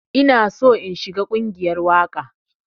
Ina so in shiga ƙungiyar waƙa.